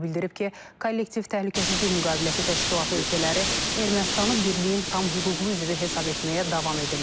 O bildirib ki, Kollektiv Təhlükəsizlik Müqaviləsi Təşkilatı ölkələri Ermənistanı birliyin tam hüquqlu üzvü hesab etməyə davam edirlər.